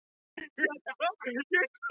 Hafði í rauninni ekki fleiri spurningar.